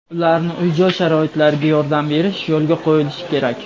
ularni uy-joy sharoitlariga yordam berish yo‘lga qo‘yilishi kerak.